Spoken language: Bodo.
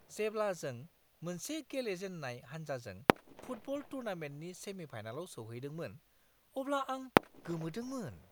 जेब्ला जों मोनसे गेलेजेन्नाय हानजाजों फुटबल टुर्नामेन्टनि सेमि-फाइनालाव सौहैदोंमोन अब्ला आं गोमोदोंमोन।